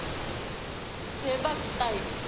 हे बघ ताई,